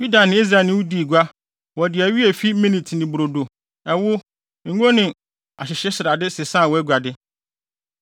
“ ‘Yuda ne Israel ne wo dii gua; wɔde awi a efi Minit ne brodo, ɛwo, ngo ne ahyehyesrade sesaa wʼaguade.